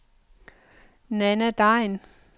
Nanna Degn